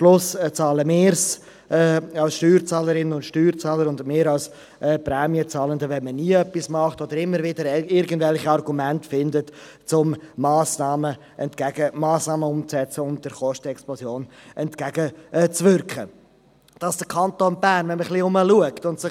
Wenn nie etwas getan wird und immer wieder irgendwelche Argumente gefunden werden, um Massnahmen gegen die Kostenexplosion entgegenzuwirken, bezahlen am Ende wir Steuer- und Prämienzahlende.